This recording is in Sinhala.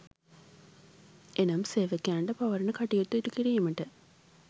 එනම් සේවකයන්ට පවරන කටයුතු ඉටුකිරීමට